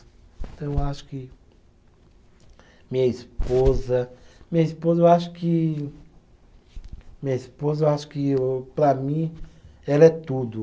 Então eu acho que. Minha esposa. Minha esposa eu acho que, minha esposa eu acho que o, para mim, ela é tudo.